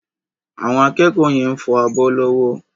Àwọn akẹ́kọ̀ọ́ yẹn fọ abọ́ lọ́wọ́.